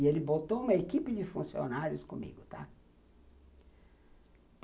E ele botou uma equipe de funcionários comigo, tá?